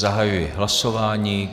Zahajuji hlasování.